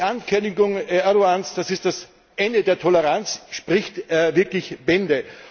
Die Ankündigung Erdogans, das sei das Ende der Toleranz, spricht wirklich Bände.